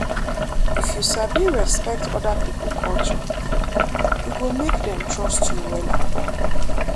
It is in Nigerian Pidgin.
if you sabi respect oda pipo culture e go make dem trust you wella.